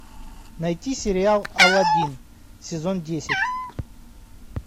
найти сериал аладдин сезон десять